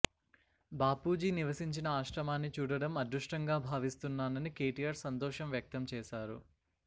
బాపూజీ నివసించిన ఆశ్రమాన్ని చూడటం అదృష్టంగా భావిస్తున్నానని కేటీఆర్ సంతోషం వ్యక్తం చేశారు